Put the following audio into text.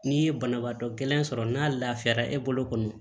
N'i ye banabaatɔ gɛlɛn sɔrɔ n'a lafiyara e bolo kɔni